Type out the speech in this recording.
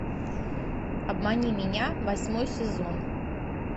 обмани меня восьмой сезон